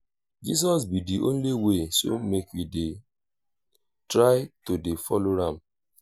jesus be the only way so make we try to dey follow am